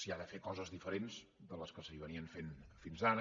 s’hi ha de fer coses diferents de les que es feien fins ara